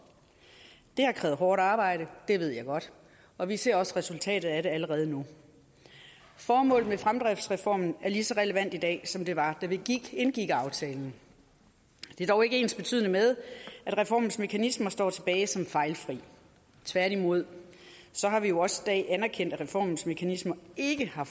det har krævet hårdt arbejde det ved jeg godt og vi ser også resultatet af det allerede nu formålet med fremdriftsreformen er lige så relevant i dag som det var da vi indgik aftalen det er dog ikke ensbetydende med at reformens mekanismer står tilbage som fejlfri tværtimod har vi jo også i dag anerkendt at reformens mekanismer det har